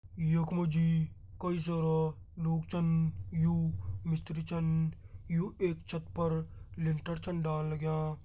यख मा जी कई सारा लोग छन यू मिस्त्री छन यू एक छत पर लिंटर छन डालन लगयां।